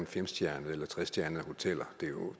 femstjernede eller trestjernede hoteller det er jo